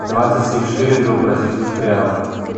двадцать семь шиллингов в бразильских реалах